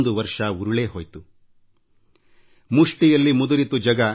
ವಿಶ್ವವನ್ನೇ ಕಂಬಿಯ ಹಿಂದೆ ಹಾಕಿದೆಯಲ್ಲ